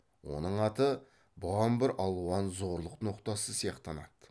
оның аты бұған бір алуан зорлық ноқтасы сияқтанады